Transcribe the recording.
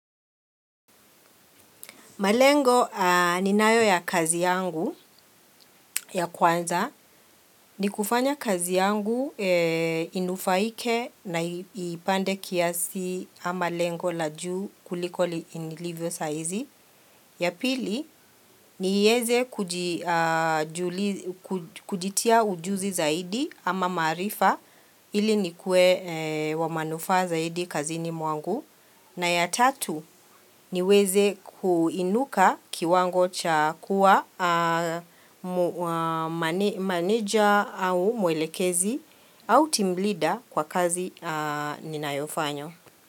Malengo ninayo ya kazi yangu ya kwanza. Ni kufanya kazi yangu inufaike na i ipande kiasi ama lengo la juu kuliko nilivyo saa izi. Ya pili, nieze kuji kujitia ujuzi zaidi ama maarifa ili nikuwe wa manufaa zaidi kazini mwangu. Na ya tatu, niweze kuinuka kiwango cha kuwa maneja au muelekezi au team leader kwa kazi ninayofanya.